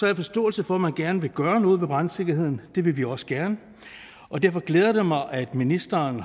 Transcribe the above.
jeg forståelse for at man gerne vil gøre noget ved brandsikkerheden det vil vi også gerne og derfor glæder det mig at ministeren